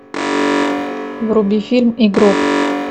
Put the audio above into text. вруби фильм игрок